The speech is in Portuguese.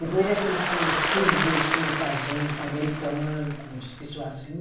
Depois aqueles foram, os filhos deles foram casando com americano, com pessoa assim.